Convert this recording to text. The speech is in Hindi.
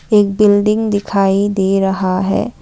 एक बिल्डिंग दिखाई दे रहा है।